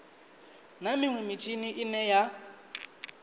na minwe mitshini ine ya